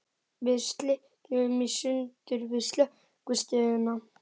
Við slitnuðum í sundur við Slökkvistöðina.